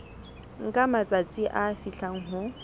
nka matsatsi a fihlang ho